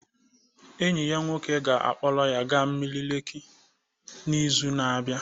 Enyi ya nwoke ga-akpọrọ ya gaa osimiri Lekki n'izu na-abịa